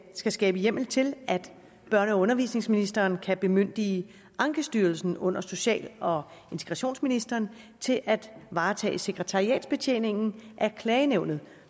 skal skabe hjemmel til at børne og undervisningsministeren kan bemyndige ankestyrelsen under social og integrationsministeren til at varetage sekretariatsbetjeningen af klagenævnet